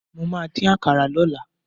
Mo máà dín àkàrà lọ́la.